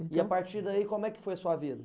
E a partir daí, como é que foi a sua vida?